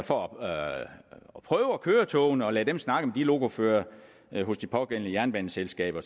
for at prøve at køre togene og lade dem snakke med lokoførere hos de pågældende jernbaneselskaber